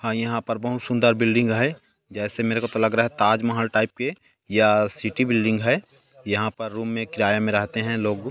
हां यहाँ पर बहुत सुन्दर बिल्डिंग है जैसे मेरे को तो लग रहा है ताजमहल टाइप के या सिटी बिल्डिंग है यहाँ पर रूम में किराये में रहते है लोग --